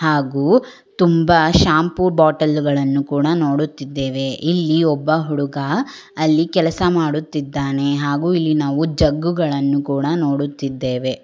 ಹಾಗು ತುಂಬ ಶಾಂಪು ಬಾಟಲ್ಲುಗಳನ್ನು ಕೂಡ ನೋಡುತ್ತಿದ್ದೇವೆ ಇಲ್ಲಿ ಒಬ್ಬ ಹುಡುಗ ಅಲ್ಲಿ ಕೆಲಸ ಮಾಡುತ್ತಿದ್ದಾನೆ ಹಾಗು ಇಲ್ಲಿ ನಾವು ಜಗ್ಗುಗಳನ್ನು ಕೂಡ ನೋಡುತ್ತಿದ್ದೇವೆ.